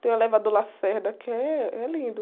Tem o elevador Lacerda, que eh, é lindo.